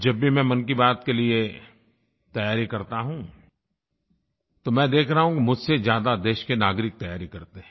जब भी मैं मन की बात के लिये तैयारी करता हूँ तो मैं देख रहा हूँ मुझसे ज्यादा देश के नागरिक तैयारी करते हैं